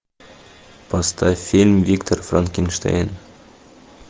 поставь фильм виктор франкенштейн